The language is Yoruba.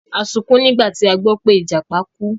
A sunkún nígbà tí a gbọ́ pé Ìjàpá kú.